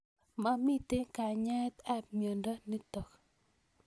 Mamito kanyaet ab miondo nitok